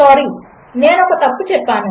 sorry నేనుఒకతప్పుచేసాను